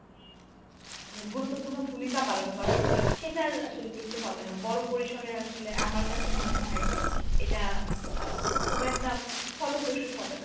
গুরুত্বপূর্ণ ভূমিকা পালন করা সেটার আসলে কিছু হবে না, বড় পরিসরে আসলে আমার কাছে মনে হয় যে এটা আ খুব একটা ফলপ্রসূ হবে না।